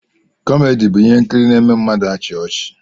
Kọmedi bụ ihe nkiri n'eme mmadụ achia ọchị